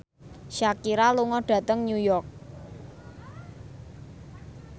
Shakira lunga dhateng New York